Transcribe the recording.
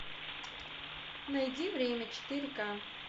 найди время четыре ка